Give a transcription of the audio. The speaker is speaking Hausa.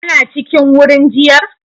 Kana cikin wurin jiar